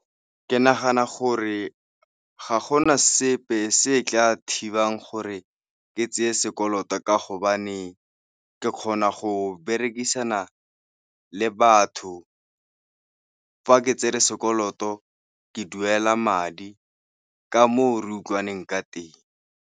Ke nagana gore ga gona sepe se tla thibang gore ke tseye sekoloto ka gobane ke kgona go berekisana le batho. Fa ke tsere sekoloto ke duela madi ka mo re utlwaneng ka teng.